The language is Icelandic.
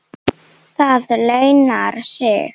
Það launar sig.